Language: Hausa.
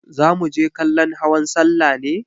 Za muje kallon hawan sallah ne?